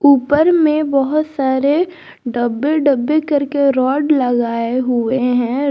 ऊपर में बहुत सारे डब्बे डब्बे करके रॉड लगाए हुए हैं।